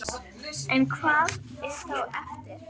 En hvað er þá eftir?